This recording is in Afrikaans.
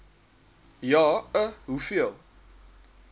ja i hoeveel